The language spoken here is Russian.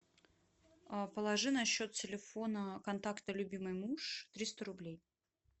положи на счет телефона контакта любимый муж триста рублей